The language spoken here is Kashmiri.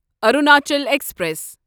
اروناچل ایکسپریس